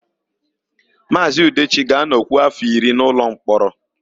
Maazị Udechi ga-anọkwu áfọ̀ iri n'ụlọmkpọrọ.